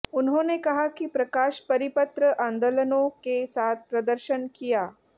उन्होंने कहा कि प्रकाश परिपत्र आंदोलनों के साथ प्रदर्शन किया